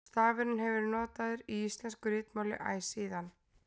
Stafurinn hefur verið notaður í íslensku ritmáli æ síðan.